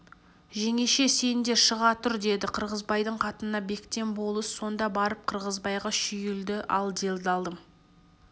жеңеше сен де шыға тұр деді қырғызбайдың қатынына бектен болыс сонда барып қырғызбайға шүйілді ал делдалым